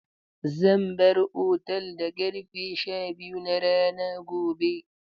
Zan bar otal da ƙarfe sha biyu na rana gobe.